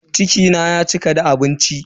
Ciki na ya cika da abinci.